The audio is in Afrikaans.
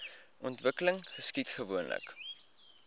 ontwikkeling geskied gewoonlik